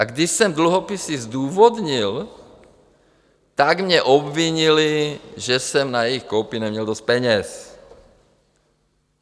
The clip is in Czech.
A když jsem dluhopisy zdůvodnil, tak mě obvinili, že jsem na jejich koupi neměl dost peněz.